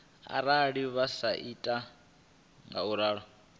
arali vha sa ita ngauralo